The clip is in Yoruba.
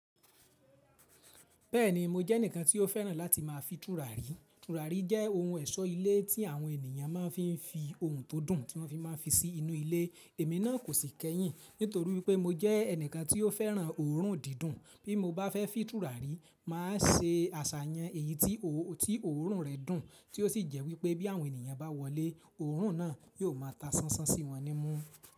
Bẹ́ẹ̀ni mo jẹ́ ẹnìkan tí ó fẹ́ràn láti máa fi tùràrí. Tùràrí jẹ́ ohun ẹ̀ṣọ́ ilé tí àwọn ènìyàn máa ń fi fi ohun tó dùn tí wọ́n fi máa ń fi sí inú ilé. Èmi náà kò sì kẹ́yìn nítorí pé mo jẹ́ ẹnìkan tí ó fẹ́ràn òórùn dídùn. Bí mo bá fẹ́ fin tùràrí, màá se aṣàyàn èyí tí òórùn rẹ̀ dùn tí ó sì jẹ́ wípé bí àwọn ènìyàn bá wọlé, òórùn náà yóò máa ta sánsán sí wọn ní mú.